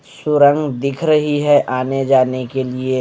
सुरंग दिख रही है आने-जाने के लिए--